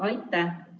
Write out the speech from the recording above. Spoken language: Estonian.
Aitäh!